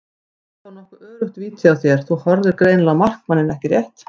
Þetta var nokkuð öruggt víti hjá þér, þú horfðir greinilega á markmanninn ekki rétt?